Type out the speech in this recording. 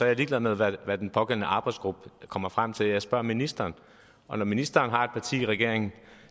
jeg ligeglad med hvad den pågældende arbejdsgruppe kommer frem til jeg spørger ministeren og når ministeren har et parti i regeringen